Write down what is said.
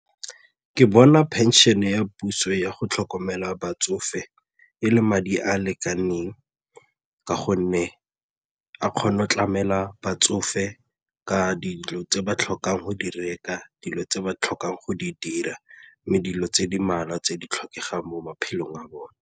Ke bona phenšene ya puso ya go tlhokomela batsofe e le madi a a lekaneng ka gonne a kgone go tlamela batsofe ka dilo tse ba tlhokang go di reka, dilo tse ba tlhokang go di dira mme dilo tse di mmalwa tse di tlhokegang mo maphelong a bone.